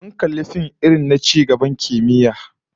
Mun kalli fim irin na ci gaban kimiyya wanda duniya bata riga ta kai cigaban ba